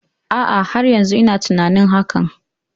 A'a, har yanzu ina tunanin hakan.